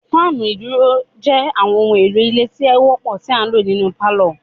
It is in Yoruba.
Fáànù iduro jé àwọn ohùn èlò ilé tí ọ wópò ti a ǹlo nínú parlor